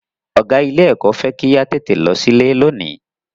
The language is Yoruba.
Ọ̀gá ilé kò fẹ́ kí a tètè lọ sílé lónìí.